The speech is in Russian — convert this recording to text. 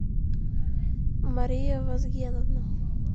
мария вазгеновна